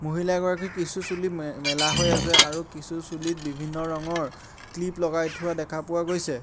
মহিলা গৰাকীৰ কিছু চুলি মে মেলা হৈ আছে আৰু কিছু চুলিত বিভিন্ন ৰঙৰ ক্লিপ লগাই থোৱা দেখা পোৱা গৈছে।